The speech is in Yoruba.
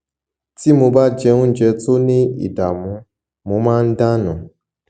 tí mo bá jẹ oúnjẹ tó ní ìdààmú mo máa ń dà nù